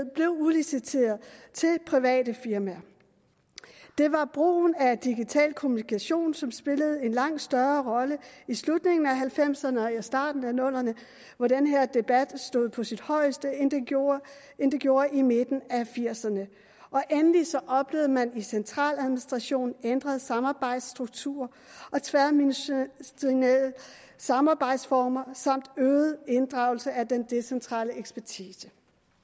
udliciteret til private firmaer det var brugen af digital kommunikation som spillede en langt større rolle i slutningen af nitten halvfemserne og starten af nullerne hvor den her debat var på sit højeste end den gjorde gjorde i midten af nitten firserne endelig oplevede man i centraladministrationen ændrede samarbejdsstrukturer og tværministerielle samarbejdsformer samt øget inddragelse af den decentrale ekspertise